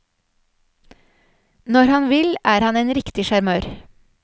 Når han vil, er han en riktig sjarmør.